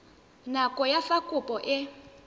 nako ya fa kopo e